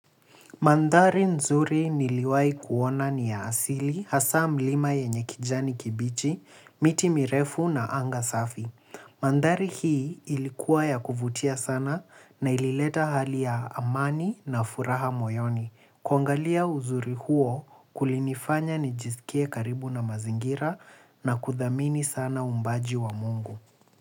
Mandhari nzuri niliwai kuona ni ya asili, hasaa mlima yenye kijani kibichi, miti mirefu na anga safi. Mandhari hii ilikuwa ya kuvutia sana na ilileta hali ya amani na furaha moyoni. Kuangalia uzuri huo kulinifanya nijisikie karibu na mazingira na kudhamini sana uumbaji wa Mungu.